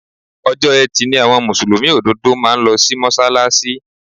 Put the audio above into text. Ọjọ́ Etí ni àwọn Mùsùlùmí òdodo máa ń lo sí Mọ́ṣálásí.